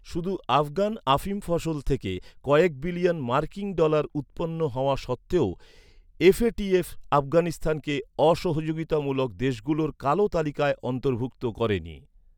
শুধু আফগান আফিম ফসল থেকে কয়েক বিলিয়ন মার্কিন ডলার উৎপন্ন হওয়া সত্ত্বেও এফএটিএফ আফগানিস্তানকে অসহযোগিতামূলক দেশগুলোর কালো তালিকায় অন্তর্ভুক্ত করেনি।